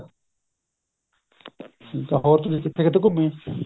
ਬਹੁਤ ਨੇ ਕਿੱਥੇ ਕਿੱਥੇ ਘੁੰਮੀਏ